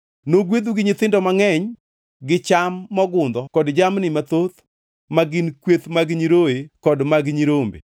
Nogwedhu gi nyithindo mangʼeny gi cham mogundho kod jamni mathoth ma gin kweth mag nyiroye kod mag nyirombe.